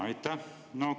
Aitäh!